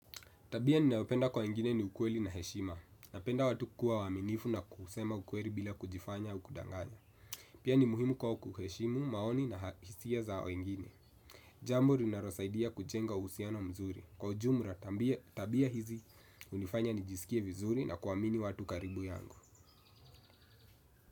Tabia ninaopenda kwa wengine ni ukweli na heshima. Napenda watu kuwa waaminifu na kusema ukweli bila kujifanya au kudanganya. Pia ni muhimu kwa kuheshimu, maoni na hisia za wengine. Jambo ninalosaidia kujenga uhusiano mzuri. Kwa ujumla tabia hizi hunifanya nijisikie vizuri na kuamini watu karibu yangu.